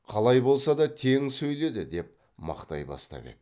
қалай болса да тең сөйледі деп мақтай бастап еді